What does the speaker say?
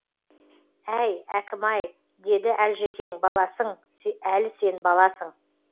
әй әкім ай деді әлжекең баласың әлі сен баласың